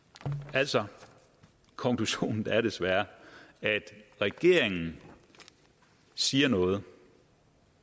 altså konklusionen er desværre at regeringen siger noget